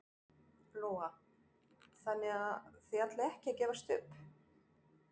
Lóa: Þannig þið ætlið ekki að gefast upp?